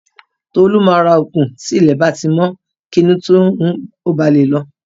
Tolu máa ra ògùn tí ilẹ̀ bá ti mọ́ kí inú tó n rún ó ba lè lọ